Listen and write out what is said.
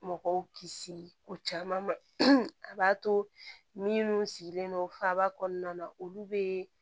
Mɔgɔw kisi ko caman ma a b'a to minnu sigilen don faba kɔnɔna na olu bɛ